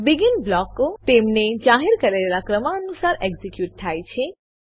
begin બ્લોકો તેમને જાહેર કરેલા ક્રમાનુસાર એક્ઝીક્યુટ થાય છે